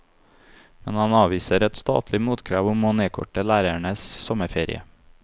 Men han avviser et statlig motkrav om å nedkorte lærernes sommerferie.